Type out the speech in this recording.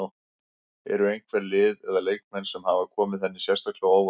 Eru einhver lið eða leikmenn sem hafa komið henni sérstaklega á óvart?